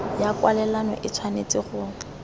ya kwalelano e tshwanetse go